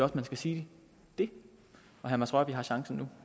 at man skal sige det herre mads rørvig har chancen nu